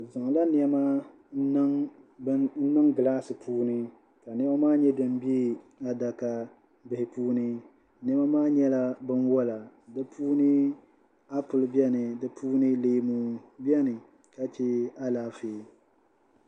Bɛ zaŋla nɛma n-niŋ gilaasi puuni ka nɛma maa nyɛ din be adakabihi puuni nɛma maa nyɛla binwala di puuni apuli beni di puuni leemu beni ka che alaafee